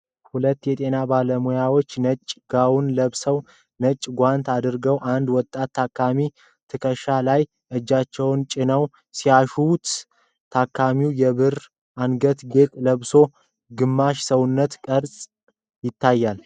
ሁለት የጤና ባለሙያዎች ነጭ ጋወን ለብሰውና ነጭ ጓንት አድርገው የአንድ ወጣት ታካሚ ትከሻ ላይ እጃቸውን ጭነው ሲያሻሹ፣ ታካሚውም የብር አንገት ጌጥ ለብሶ ግማሽ ሰውነቱ ቀረጻ ይታያል ።